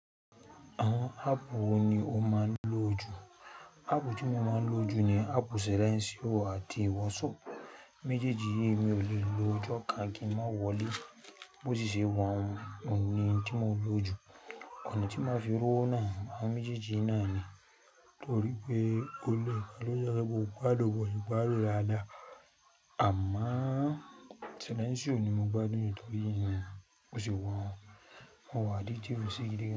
Àwọn áàpù wo ni o máa ń lò jù? Áàpù tí mo máa ń lò jù ni áàpù Silentio àti WhatsApp. Méjèèjì yìí mi ò lè lo ọjọ́ ká kí má wọlé. Bó ti ṣe wá, òun ni tí mo lò jù. Ọ̀nà tí máa fi rọ́ wo náà, àwọn méjèèjì náà ni nítorí pé ó lè rí pé lọ́jà bó padà wọ̀, ó gbádùn lára dá. Àmọ́ Silentio ni mo gbádùn jù nítorí òun bo ṣe wa un, mó wà addictive si gidigan.